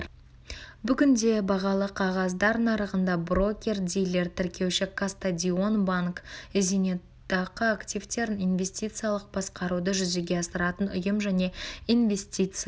бүгінде бағалы қағаздар нарығында брокер-дилер тіркеуші кастадион банк зейнетақы активтерін инвестициялық басқаруды жүзеге асыратын ұйым және инвестициялық